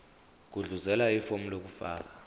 gudluzela ifomu lokufaka